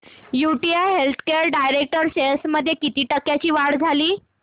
UTI healthcare direct shares मध्ये किती टक्क्यांची वाढ झाली